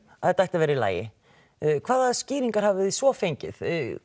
að þetta yrði í lagi hvaða skýringar hafið þið svo fengið